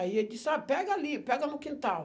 Aí ele disse, ah, pega ali, pega no quintal.